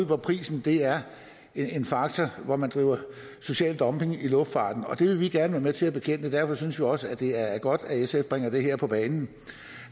hvor prisen er en faktor og hvor man driver social dumping i luftfarten det vil vi gerne være med til at bekæmpe og derfor synes vi også det er godt at sf bringer det her på bane den